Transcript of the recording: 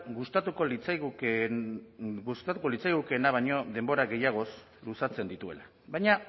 gustatuko litzaigukeena baino denbora gehiagoz luzatzen dituela baina